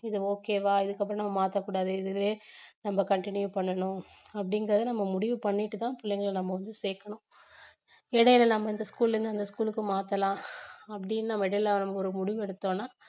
இது okay வா இதுக்கப்புறம் மாத்தக்கூடாது இதுவே நம்ம continue பண்ணணும் அப்படிங்கறத நம்ம முடிவு பண்ணிட்டு தான் பிள்ளைங்களை நம்ம வந்து சேக்கணும் இடையில நம்ம இந்த school ல இருந்து அந்த school க்கு மாத்தலாம் அப்படின்னு நம்ம இடையில ஒரு முடிவு எடுத்தோம்னா